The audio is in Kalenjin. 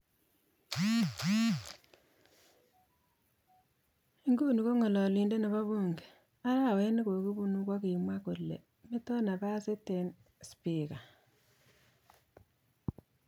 Ing nguni ko ng'alalindet nebo bunge, arawet nekokibunu kokimwa kole meto napasit eng spika.